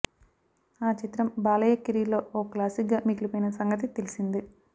ఆ చిత్రం బాలయ్య కెరీర్ లో ఓ క్లాసిక్ గా మిగిలిపోయిన సంగతి తెలిసిందే